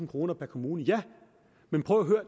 kroner per kommune ja men prøv og